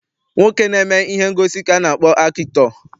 Nwoke na-eme ihe ngosi ka a na-akpọ akịtọ.